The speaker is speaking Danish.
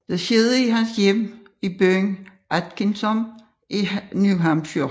Det skete i hans hjem i byen Atkinsom i New Hampshire